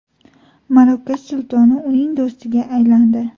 Marokash sultoni uning do‘stiga aylandi.